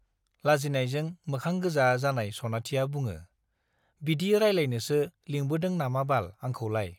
लाजिनायजों मोखां गोजा जानाय सनाथिया बुङो , बिदि रायलायनोसो लिंबोदों नामाबाल आंखौलाय ?